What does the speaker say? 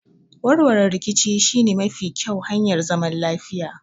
Warwarewar riƙici shi ne mafi ƙƴau hanyar zaman lafiya.